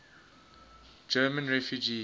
german refugees